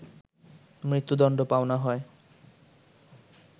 মৃত্যুদণ্ড পাওনা হয়